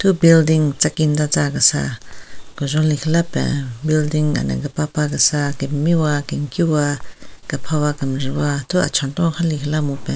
Thu building kesa kejon lekhila pen building ana kepapa kesa kemiwa kenkiwa kaphawa kenjvu wa thu achünthon khen lekhinala mupen.